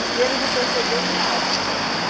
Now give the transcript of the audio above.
E eles não perceberam nada lá?